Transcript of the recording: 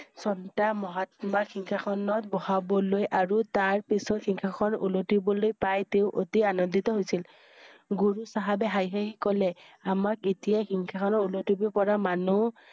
শান্ত মহাত্মা সিংহাসনত বহাবলৈ আৰু তাৰ পিছত সিংহাসন উলতিবলৈ পাই তেওঁ অতি আনন্দিত হৈছিল। গুৰু চাহাবে হাঁহি হাঁহি কলে আমাক এতিয়া সিংহাসন উলতিব পৰা মানুহ